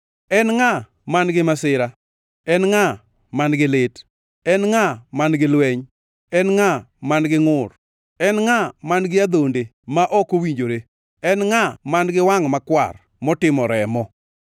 En ngʼa man-gi masira? En ngʼa man-gi lit? En ngʼa man-gi lweny? En ngʼa man-gi ngʼur? En ngʼa man-gi adhonde ma ok owinjore? En ngʼa man-gi wangʼ makwar motimo remo?